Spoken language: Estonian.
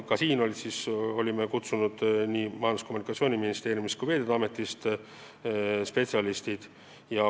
Ka sinna olime kutsunud nii Majandus- ja Kommunikatsiooniministeeriumi kui ka Veeteede Ameti spetsialistid.